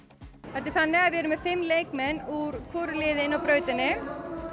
þetta er þannig að við erum með fimm leikmenn úr hvoru liði inni á brautinni